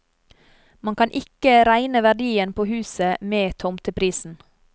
Man kan ikke regne verdien på huset med i tomteprisen.